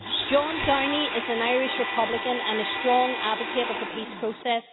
John Downey is an Irish republican and a strong advocate of the peace process.